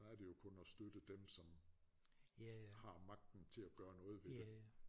Der er det jo kun at støtte dem som har magten til gøre noget ved det